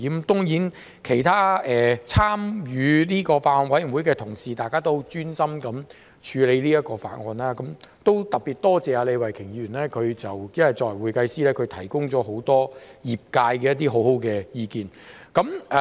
當然，參與這個法案委員會的其他同事，也十分專心地處理法案，我特別多謝李慧琼議員，她作為會計師，提供了很多業界很好的意見。